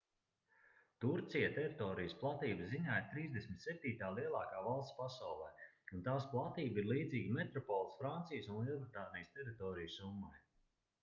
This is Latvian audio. turcija teritorijas platības ziņā ir 37. lielākā valsts pasaulē un tās platība ir līdzīga metropoles francijas un lielbritānijas teritoriju summai